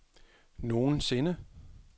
nogensinde